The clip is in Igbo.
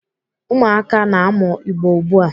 Ụmụakwụkwọ na-amụ Igbo ugbu a.